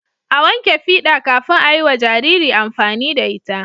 a wanke fida kafin ayiwa Jariri amfani da ita